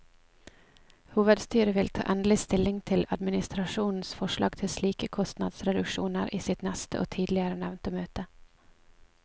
Hovedstyret vil ta endelig stilling til administrasjonens forslag til slike kostnadsreduksjoner i sitt neste og tidligere nevnte møte.